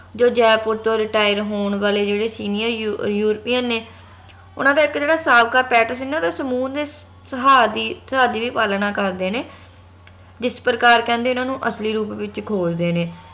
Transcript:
ਜੋ ਜੈਪੁਰ ਤੋਂ retire ਹੋਣ ਵਾਲੇ ਜਿਹੜੇ senior ਯੁਰ ਯੂਰੋਪੀਅਨ ਨੇ ਓਨਾ ਦਾ ਇਕ ਜੇਹੜਾ ਸੀ ਨਾ ਓਹਨਾ ਦੇ ਸਮੂਹ ਦੇ ਦੀ ਵੀ ਪਾਲਣਾ ਕਰਦੇ ਨੇ ਜਿਸ ਪ੍ਰਕਾਰ ਕਹਿੰਦੇ ਏਹਨਾ ਨੂੰ ਅਸਲੀ ਰੂਪ ਵਿਚ ਖੋਜ ਦੇ ਨੇ